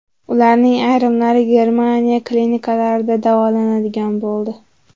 Ularning ayrimlari Germaniya klinikalarida davolanadigan bo‘ldi.